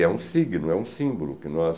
É um signo, é um símbolo que nós...